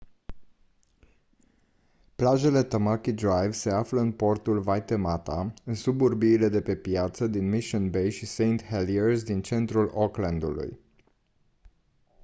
plajele tamaki drive se află în portul waitemata în suburbiile de pe piață din mission bay și st heliers din centrul auckland-ului